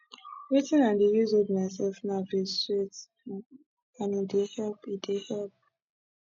wetin i dey use hold myself now be sweet um and e dey help e dey help